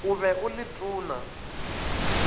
o be o le tona